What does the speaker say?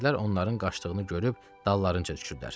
Nökərlər onların qaçdığını görüb dallarınca düşürlər.